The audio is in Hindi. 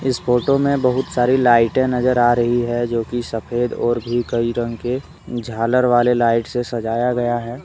फोटो में बहुत सारी लाइटें नजर आ रही है जो की सफेद और भी कई रंग के झालर वाले लाइट से सजाया गया है।